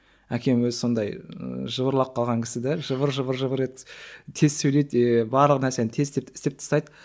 әкем өзі сондай і жыбырлап қалған кісі де жыбыр жыбыр жыбыр еткізіп тез сөйлейді и барлық нәрсені тез істеп тастайды